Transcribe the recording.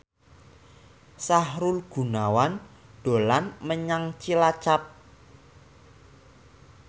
Sahrul Gunawan dolan menyang Cilacap